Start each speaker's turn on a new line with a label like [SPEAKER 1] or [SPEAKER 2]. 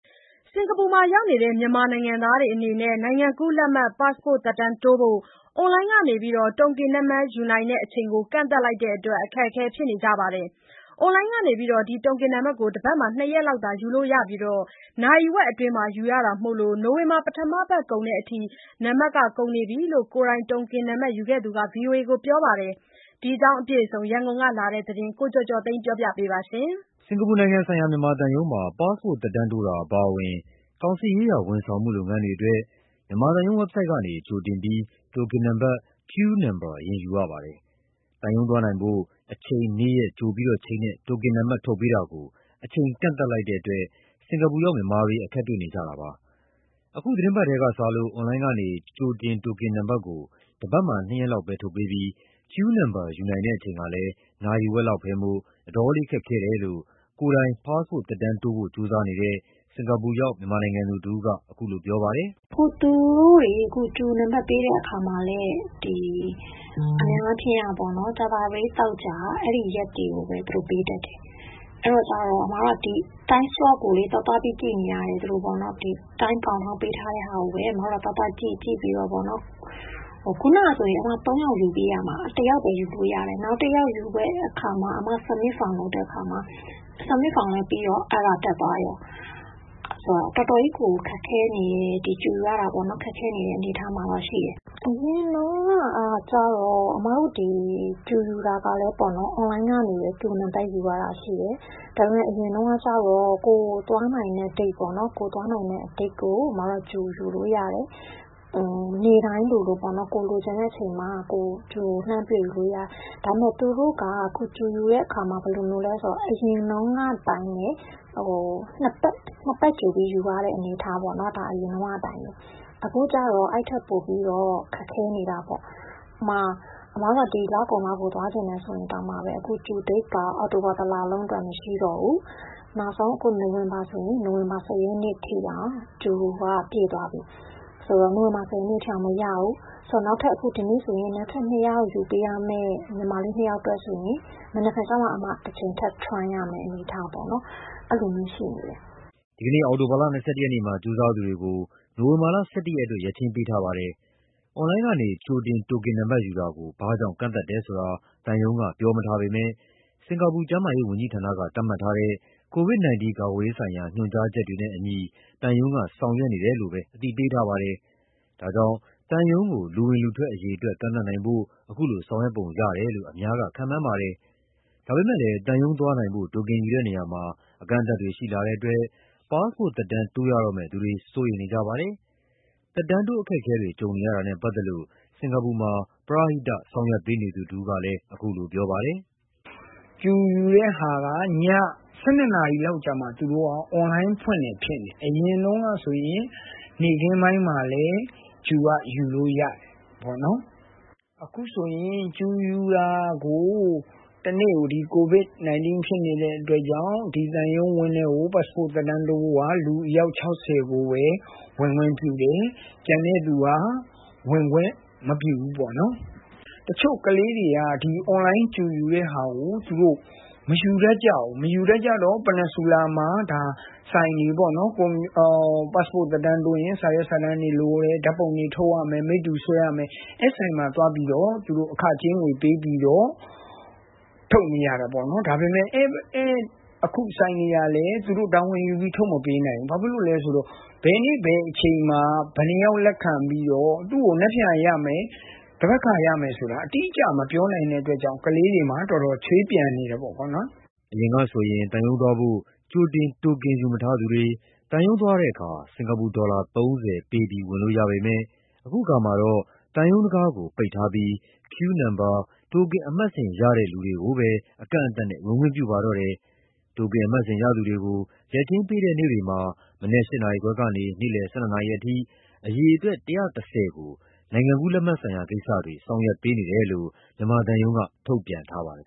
[SPEAKER 1] စင်ကာပူရောက် မြန်မာနိုင်ငံသားတွေအနေနဲ့နိုင်ငံကူးလက်မှတ် သက်တမ်းတိုးဖို့ အွန်လိုင်းက တိုကင်နံပါတ်ယူနိုင်တဲ့အချိန်ကို ကန့်သတ်လိုက်တဲ့အတွက် အခက်အခဲ ဖြစ်နေကြပါတယ်။ အွန်လိုင်းကနေ တိုကင်နံပါတ်ကို တပတ်မှာ နှစ်ရက်လောက်သာ ယူလို့ရပြီး နာရီဝက်အတွင်း ယူရတာမို့ နိုဝင်ဘာ ပထမပတ်ကုန်တဲ့အထိ နံပါတ်ကုန်နေပြီလို့ ကိုယ်တိုင်တိုကင်နံပါတ်ယူခဲ့သူက ဗွီအိုအေကို ပြောပါတယ်။ ဒီအကြောင်း ရန်ကုန်ကလာတဲ့သတင်းကို ကိုကျော်ကျော်သိန်းက တင်ပြပေးထားပါတယ်
[SPEAKER 2] ။ စင်ကာပူနိုင်ငံဆိုင်ရာ မြန်မာသံရုံးမှာ ပါ့စ်ပို့တ် သက်တမ်းတိုးတာအပါအဝင် ကောင်စစ်ရေးရာဝန်ဆောင်မှုလုပ်ငန်းတွေအတွက် မြန်မာသံရုံးဝက်ဘ်ဆိုဒ်ကနေ ကြိုတင်ပြီး တိုတင်နံပါတ် Queue number အရင်ယူရပါတယ်။ သံရုံးသွားနိုင်ဖို့ အချိန်၊ နေ့ရက် ကြိုတင်ချိန်းတဲ့ တိုကင်နံပါတ် ထုတ်ပေးတာကို အချိန်ကန့်သတ်လိုက်တဲ့အတွက် စင်ကာပူရောက် မြန်မာတွေ အခက်တွေ့နေကြတာပါ။ အခုသီတင်းပတ်ထဲကစလို့ အွန်လိုင်းကနေ ကြိုတင်တိုကင်နံပါတ်ကို တပတ်မှာ နှစ်ရက်လောက်သာ ထုတ်ပေးပြီး Queue number ယူနိုင်တဲ့အချိန်ကလည်း နာရီဝက်လောက်ပဲမို့ အတော်လေးခက်ခဲတယ်လို့ ကိုယ်တိုင် ပါ့စ်ပို့တ် သက်တမ်းတိုးဖို့ ကြိုးစားနေတဲ့ စင်ကာပူရောက် မြန်မာနိုင်ငံသူတဦးက ပြောပါတယ်။
[SPEAKER 1] “သူတို့တွေ Queue နံပါတ်ပေးတဲ့အခါမှာလည်း အများအားဖြင့်ကပေါ့နော် ကြာသပတေး၊ သောကြာ အဲ့ဒီရက်တွေကိုပဲ ပေးတတ်တယ်။ အဲဒီတော့ Time Slot ကို သွားသွားပြီး ကြည့်နေရတယ်။ Time Countdown ပေးထားတဲ့ဟာကိုပဲ သွားသွားကြည့် ကြည့်ပြီးတော့ ခုနကဆိုရင် ၃ ယောက်ယူပေးရမှာ တယောက်ပဲ ယူလို့ရတယ်။ နောက်တယောက်ယူဖို့ Submit Form လုပ်တဲ့အခါမှာ Submit Form လည်းပြီးကော Error တက်သွားကော။ တော်တော်ကြီးကို ခက်ခဲနေတယ်။ Queue ယူရတာ ခက်ခဲနေတဲ့ အနေအထားမှာရှိနေတယ်။ အရင်တုန်းက ဒီ Queue ယူတာလည်းပေါ့နော်။ အွန်လိုင်းကနေ ယူရတာရှိတယ်။ ဒါပေမယ့် အရင်တုန်းကကျတော့ ကိုယ်သွားနိုင်တဲ့ရက်ကို Queue ယူလို့ရတယ်။ နေ့တိုင်းလိုလို ကိုယ်လိုချင်တဲ့အချိန်မှာ လှမ်းပြီးယူလို့ရတယ်။ အခု သူတို့က Queue ယူတဲ့အခါမှာ ဘယ်လိုမျိုးလည်းဆိုတော့ အရင်တုန်းကအတိုင်းပဲ နှစ်ပတ်ကြိုပြီး ယူရတဲ့ အနေအထားပေါ့နော်။ အရင်တုန်းကအတိုင်းပဲ။ အခုကျတော့ အဲ့ထက်ပိုပြီး ခက်ခဲနေတာပေါ့။ အမတို့က ဒီလကုန်လောက်ကို သွားချင်တယ်ဆိုရင်တောင် အခု Queue Date က အောက်တိုဘာ ၁ လလုံးအတွက် မရှိတော့ဘူး။ နောက်ဆုံး နိုဝင်ဘာ ၁၀ ရက်နေ့အထိတောင် Q က ပြည့်သွားပြီ ဒီနေ့ဆို နောက်ထပ် ယူပေးရမယ့် ညီမလေး ၂ ယောက်အတွက်ဆိုရင် မနက်ဖြန်မှ ထပ် Try ရမယ်။”
[SPEAKER 2] ဒီနေ့ အောက်တိုဘာ ၂၁ ရက်မှာ ကြိုးစားသူတွေကို နိုင်ဝင်ဘာ ၁၁ ရက်အတွက် ရက်ချိန်းပေးထားပါတယ်။ အွန်လိုင်းကနေ ကြိုတင်တိုကင်နံပါတ်ယူတာကို ဘာကြောင့် ကန့်သတ်တယ်ဆိုတာ သံရုံးက ပြောမထားပေမဲ့ စင်ကာပူ ကျန်းမာရေးဝန်ကြီးဌာနက သတ်မှတ်ထားတဲ့ COVID-19 ကာကွယ်ရေးဆိုင်ရာ ညွှန်ကြားချက်တွေနဲ့ အညီ သံရုံးက ဆောင်ရွက်နေတယ်လို့သာ အသိပေးထားပါတယ်။ ဒါကြောင့် သံရုံးကို လူဝင်လူထွက်အရေအတွက် ကန့်သတ်နိုင်ဖို့ ခုလိုဆောင်ရွက်ပုံရတယ်လို့ အများကခန့်မှန်းနေပါတယ်။ ဒါပေမဲ့လည်း သံရုံးသွားနိုင်ဖို့ တိုတင်ယူတဲ့နေရာမှာ အကန့်အသတ်တွေရှိလာတဲ့အတွက် ပါ့စ်ပို့တ်သက်တမ်း တိုးရတော့မယ့်သူတွေ စိုးရိမ်နေကြပါတယ်။ သက်တမ်းတိုးအခက်အခဲတွေ ကြုံနေရတာနဲ့ ပတ်သက်လို့ စင်ကာပူမှာ ပရဟိတ ဆောင်ရွက်ပေးနေသူတဦးက အခုလိုပြောပါတယ်
[SPEAKER 3] ။ “Queue ယူတဲ့ဟာက ည ၁၂ လောက်မှ အွန်လိုင်းဖွင့်တယ်ဖြစ်တယ်။ အရင်ကဆိုရင် နေ့ခင်းပိုင်းမှာလည်း Queue က ယူလို့ရတယ်။ အခုဟာ Q ယူတာကို တနေ့ကို COVID-19 ဖြစ်နေတဲ့အတွက်ကြောင့် ဒီသံရုံးဝန်းထဲကို ပတ်စ်ပို့တ် သက်တမ်းတိုးဖို့ကို လူ အယောက် ၆၀ ကိုပဲ ဝင်ခွင့်ပြုတယ်။ ကျန်တဲ့သူက ဝင်ခွင့်မပြုဘူးပေါ့နော်။ တချို့ကလေးတွေက အွန်လိုင်း Queue ယူတဲ့ဟာကို မယူတတ်ကြဘူး။ မယူတတ်ကြတော့ ပန်နီဆူလာမှာ ဆိုင်တွေပေါ့နော်။ ပတ်စ်ပို့တ်သက်တမ်းတိုးရင် ဆိုင်တွေက စာရွက်စာတမ်းတွေလိုတယ်။ ဓာတ်ပုံတွေထုတ်ရမယ်။ မိတ္တူဆွဲရမယ်။ အဲ့ဆိုင်တွေမှာ အခကြေးငွေပေးပြီးတော့ ထုတ်နေရတာပေါ့နော်။ အခုဆိုင်တွေကလည်း သူတို့က တာဝန်ယူပြီး ထုတ်မပေးနိုင်ဘူး။ ဘာလို့လဲဆိုတော့ ဘယ်နေ့ဘယ်အချိန်မှာ ဘယ်နှယောက် လက်ခံပြီးတော့ သူ့ကို မနက်ဖြန်ရမယ် သန်ဘက်ခါရမယ် အတိအကျ မပြောနိုင်တဲ့အတွက်ကြောင့် ကလေးတွေမှာ တော်တော် ချွေးပြန်နေတယ်ပေါ့။
[SPEAKER 2] ” အရင်ကဆို သံရုံးသွားဖို့ ကြိုတင် တိုကင်မယူထားသူတွေ သံရုံးသွားတဲ့အခါ စင်ကာပူ ဒေါ်လာ ၃၀ ပေးပြီး ဝင်လို့ရပေမဲ့ အခုအခါမှာတော့သံရုံးတံခါးကို ပိတ်ထားပြီး Queue number တိုကင်အမှတ်စဉ်ရတဲ့လူတွေကိုသာ အကန့်အသတ်နဲ့ ဝင်ခွင့်ပြုပါတော့တယ်။ တိုကင်အမှတ်စဉ်ရသူတွေကို ရက်ချိန်းပေးတဲ့နေ့တွေမှာ မနက် ၈ နာရီခွဲကနေ နေ့လည် ၁၂ နာရီအထိ အရေအတွက် ၁၁၀ ကို နိုင်ငံကူးလက်မှတ်ဆိုင်ရာကိစ္စတွေဆောင်ရွက်ပေးနေတယ်လို့ သံရုံးက ထုတ်ပြန်ထားပါတယ်